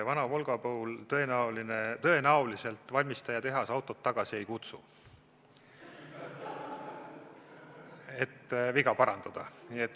Vana Volgat valmistajatehas tõenäoliselt tagasi ei kutsu, et viga parandada.